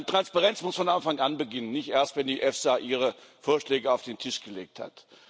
Transparenz muss von Anfang anherrschen, nicht erst, wenn die EFSA ihre Vorschläge auf den Tisch gelegt hat.